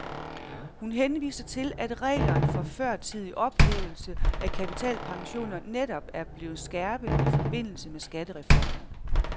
Hun henviser til, at reglerne for førtidig ophævelse af kapitalpensioner netop er blevet skærpet i forbindelse med skattereformen.